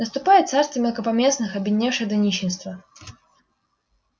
наступает царство мелкопоместных обедневших до нищенства